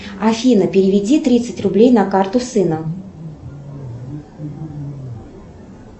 афина переведи тридцать рублей на карту сына